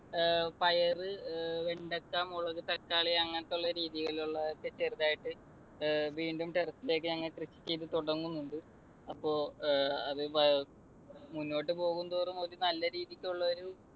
ഏർ പയർ, ഏർ വെണ്ടയ്ക്ക, മുളക്. തക്കാളി അങ്ങനത്തുള്ള രീതിയിലുള്ള ചെറുതായിട്ട് വീണ്ടും terrace ലേക്ക് തന്നെ കൃഷി ചെയ്‌തു തുടങ്ങുന്നുണ്ട്. അപ്പൊ ഏർ അത് മുന്നോട്ട് പോകുംതോറും ഒരു നല്ല രീതിക്കുള്ള ഒരു